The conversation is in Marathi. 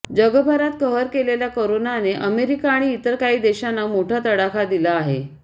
जगभरात कहर केलेल्या करोनाने अमेरिका आणि इतर काही देशांना मोठा तडाखा दिला आहे